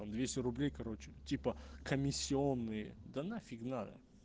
там двести рублей короче типа комиссионные да нафиг надо